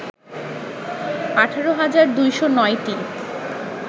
১৮ হাজার ২০৯টি